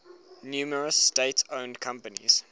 numerous state owned companies